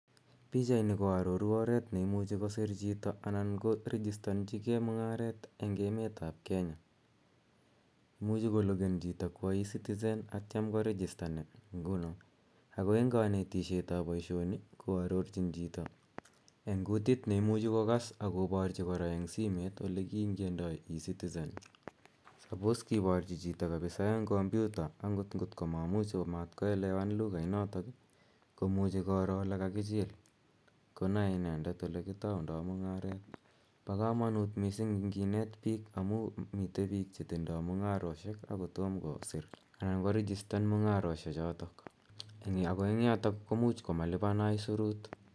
Pichaini ko aroru oret ne imuchi kosir chito anan ko rijistanchige mung'aret eng' emet ap Kenya. Imuchi kolegen chito kowa ecitizen atiam korijistan nguno. Ako eng' kanetishet ap poishoni, koarorcbin chito eng' kutit ne imuchi kokass ak koparchi kora eng' simet ole kiingiandai ecitizen. Suppose kiparchi chito kapsa eng' kompyuta ngot maimuch koelewan lukainot komuchi koro ole kakichil konae inendet ole kitaundai mung'aret. Pa kamanut kapsa ngi net piik amu mitei piik che tindai mung'aroshek ako toma kosir anan korejistan mung'aroshechotok, ako eng' yotok ko much komalipan aisurut.